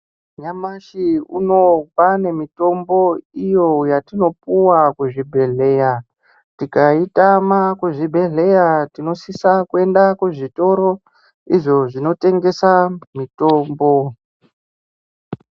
Nyamashi uno kwaane mitombo iyo yatinopuwa kuzvibhehleya tikaitama kuzvibhehleya tinosisa kuenda kuzvitoro izvo zvinotengesa mitombo.